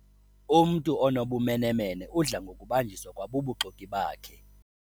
Umntu onobumenemene udla ngokubanjiswa kwabubuxoki bakhe.